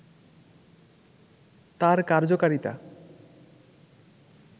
তার কার্যকারিতা